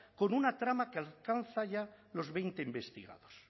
con una trama que alcanza ya los veinte investigados